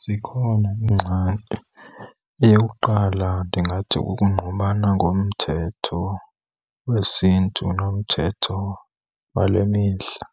Zikhona iingxaki. Eyokuqala, ndingathi kukungqubana ngomthetho wesiNtu nomthetho wale mihla.